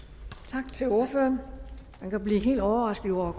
tak til ordføreren man kan blive helt overrasket over